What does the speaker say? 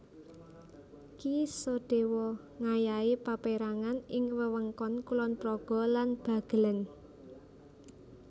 Ki Sodewo ngayahi paperangan ing wewengkon Kulon Progo lan Bagelen